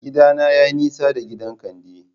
Gidana yayi nisa da gidan Kande